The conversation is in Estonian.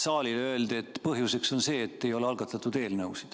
Saalile öeldi, et põhjuseks on see, et ei ole algatatud eelnõusid.